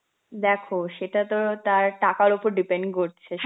দেখো সেটা তো তার টাকার উপর depend করছে